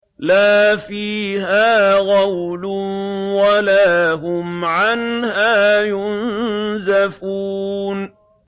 لَا فِيهَا غَوْلٌ وَلَا هُمْ عَنْهَا يُنزَفُونَ